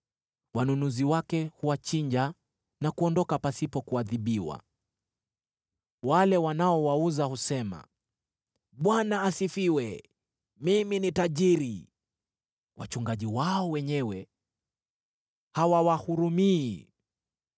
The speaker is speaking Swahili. Wanunuzi wake huwachinja na kuondoka pasipo kuadhibiwa. Wale wanaowauza husema, ‘ Bwana asifiwe, mimi ni tajiri!’ Wachungaji wao wenyewe hawawahurumii.